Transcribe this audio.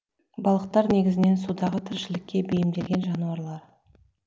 балықтар негізінен судағы тіршілікке бейімделген жануарлар